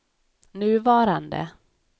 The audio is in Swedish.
nuvarande